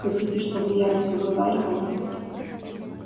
хотите чтобы я вас уговаривал